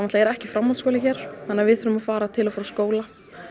ekki framhaldsskóli hér þannig að við þurfum að fara til og frá skóla